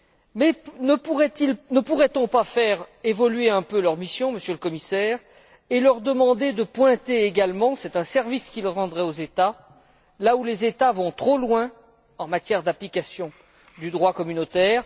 Mais ne pourrait on pas faire évoluer un peu leur mission, Monsieur le Commissaire, et leur demander de pointer également c'est un service qu'ils rendraient aux États là où les États vont trop loin en matière d'application du droit communautaire?